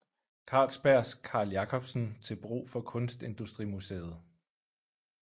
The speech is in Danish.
Carlsbergs Carl Jacobsen til brug for Kunstindustrimuseet